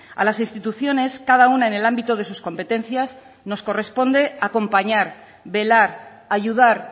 a las instituciones cada una en el ámbito de sus competencias nos corresponde acompañar velar ayudar